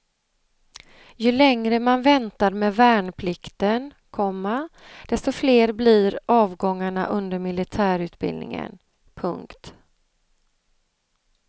Ju längre man väntar med värnplikten, komma desto fler blir avgångarna under militärutbildningen. punkt